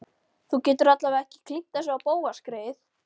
Þú getur alla vega ekki klínt þessu á Bóas greyið.